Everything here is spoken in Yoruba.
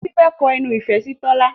Titi fè kò ẹnu ifẹ sí Tola.